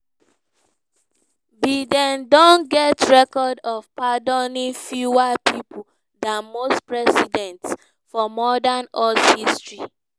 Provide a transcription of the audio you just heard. biden don get record of pardoning fewer pipo dan most presidents for modern us history.